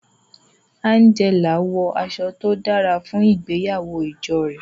Angela wọ aṣọ to dara fun ìgbéyàwó ijo rẹ.